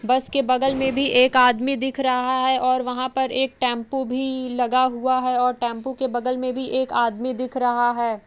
बस के बगल में भी एक आदमी दिख रहा है और वहां पर एक टेम्पो भी लगा हुआ है और टेम्पो के बगल में भी एक आदमी दिख रहा है।